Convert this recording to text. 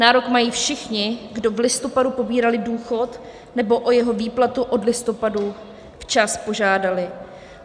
Nárok mají všichni, kdo v listopadu pobírali důchod nebo o jeho výplatu od listopadu včas požádali.